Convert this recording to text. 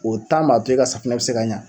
O tan b'a to e ka safinɛ be se ka ɲa